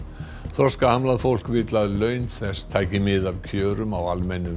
þroskahamlað fólk vill að laun þess taki mið af kjörum á almennum